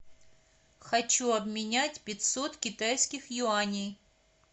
хочу обменять пятьсот китайских юаней